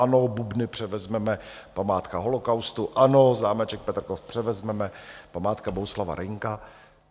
Ano, Bubny převezmeme, památka holocaustu, ano, zámeček Petrkov převezmeme, památka Bohuslava Reynka.